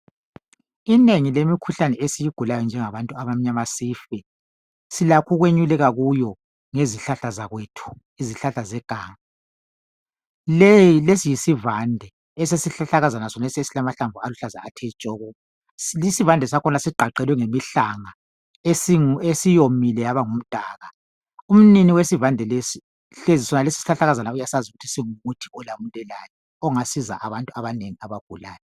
Inengi lemikhuhlane esiyigulayo njengabantu abamnyama sife silakho ukwenyuleka kuyo ngezihlahla zakwethu izihlahla zeganga. Lesi yisivande esesihlahlakazana sonesi esilamahlamvu aluhlaza athe tshoko isivande sakhona sigqagqelwe yimihlanga esiwomile yabangumdaka .umnini wesivande lesi ungumuthi ongasiza abantu abaneabagulayo